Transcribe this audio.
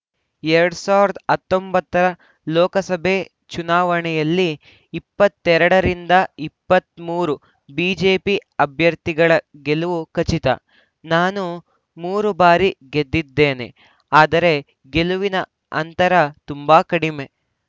ಎರಡ್ ಸಾವಿರದ ಹತ್ತೊಂಬತ್ತ ರ ಲೋಕಸಭೆ ಚುನಾವಣೆಯಲ್ಲಿ ಇಪ್ಪತ್ತೆರಡು ರಿಂದ ಇಪ್ಪತ್ತ್ ಮೂರು ಬಿಜೆಪಿ ಅಭ್ಯರ್ಥಿಗಳ ಗೆಲುವು ಖಚಿತ ನಾನು ಮೂರು ಬಾರಿ ಗೆದ್ದಿದ್ದೇನೆ ಆದರೆ ಗೆಲುವಿನ ಅಂತರ ತುಂಬಾ ಕಡಿಮೆ